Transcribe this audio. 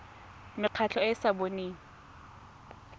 mekgatlho e e sa boneng